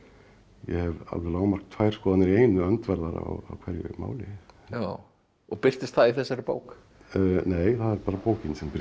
ég hef alveg lágmark tvær skoðanir í einu öndverðar á hverju máli já og birtist það í þessari bók nei það er bara bókin sem birtist